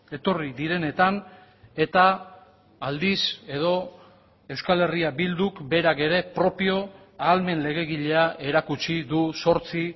etorri direnetan eta aldiz edo euskal herria bilduk berak ere propio ahalmen legegilea erakutsi du zortzi